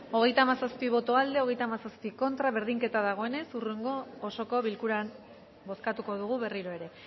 hogeita hamazazpi boto aldekoa treinta y siete contra berdinketa dagoenez hurrengo osoko bilkuran bozkatuko dugu berriro ere